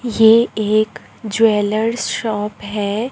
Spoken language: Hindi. ये एक ज्वेलर्स शॉप है।